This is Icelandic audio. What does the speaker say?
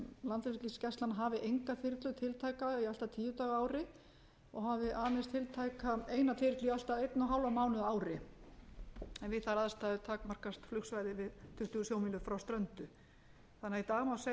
landhelgisgæslan hafi enga þyrlu tiltæka í allt að tíu daga á ári og hafi aðeins tiltæka eina þyrlu í allt að ein hálfan mánuð á ári en við þær aðstæður takmarkast flughraði við tuttugu sjómílur frá ströndu þannig að í dag má segja að það er eitt hálfur